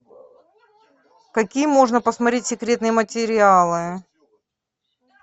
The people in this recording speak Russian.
какие можно посмотреть секретные материалы